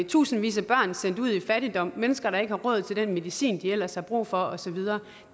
tusindvis af børn er sendt ud i fattigdom der mennesker der ikke har råd til den medicin de ellers har brug for og så videre